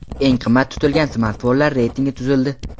Eng qimmat tutilgan smartfonlar reytingi tuzildi.